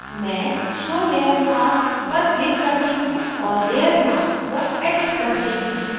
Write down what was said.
मैं show layer mask पर click करती हूँ और layer mask को edit करती हूँ